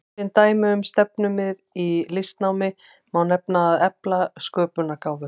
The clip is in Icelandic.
Sem dæmi um stefnumið í listnámi má nefna að efla sköpunargáfu.